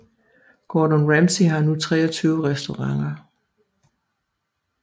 Gordon Ramsay har nu 23 restauranter